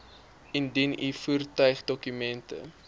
indien u voertuigdokumente